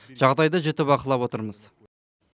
жағдайды жіті бақылап отырмыз